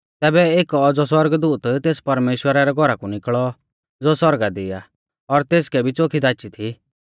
तैबै एक औज़ौ सौरगदूत तेस परमेश्‍वरा रै घौरा कु निकल़ौ ज़ो सौरगा दी आ और तेसकै भी च़ोखी दाची थी